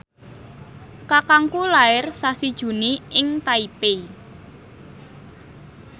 kakangku lair sasi Juni ing Taipei